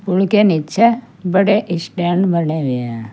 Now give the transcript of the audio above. पुल के नीचे बड़े स्टैंड बने हुए हैं।